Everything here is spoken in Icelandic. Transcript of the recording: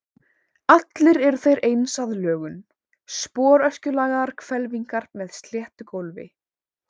Allir eru þeir eins að lögun, sporöskjulagaðar hvelfingar með sléttu gólfi.